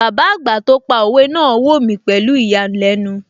Bàbá àgbà tí ó pa òwe náà wò mí pẹ̀lú ìyàlẹ́nu